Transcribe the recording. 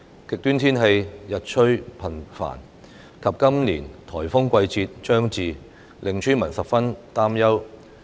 極端天氣日趨頻繁及今年颱風季節將至，令村民十分擔憂。